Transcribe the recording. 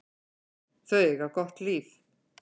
Þau eiga gott líf.